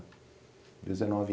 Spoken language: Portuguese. Dezenove